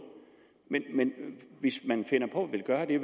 men hvis man finder på at ville gøre det